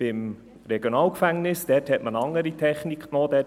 Beim RG hat man eine andere Technik angewendet.